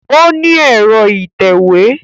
Ó ní ẹ̀rọ ìtẹ̀wé